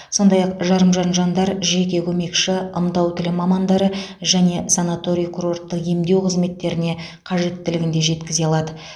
сондай ақ жарымжан жандар жеке көмекші ымдау тілі мамандары және санаторий курорттық емдеу қызметтеріне қажеттілігін де жеткізе алады